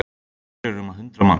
Hér eru um hundrað manns